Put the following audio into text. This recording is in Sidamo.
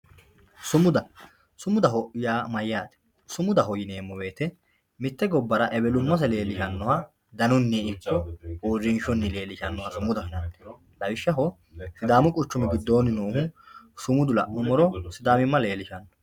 sumuda ,sumuda yaa mayyaate? sumudaho yaa mitte gobbara ewelummase leellishshannoha danunni ikkirono uurrinshunni leellishshannoha ikkara chaalanno, lawishshaho sidaamu quchumi giddonni noohu sumudu la'nummoro sidaamimma leellishhsanno.